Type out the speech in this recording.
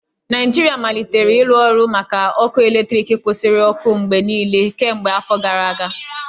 Naijiria malitere ịrụ ọrụ maka ọkụ eletriki kwusiri ọkụ mgbe niile kemgbe afọ gara aga